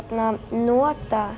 nota